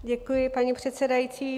Děkuji, paní předsedající.